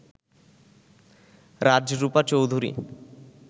Rajrupa Chowdhury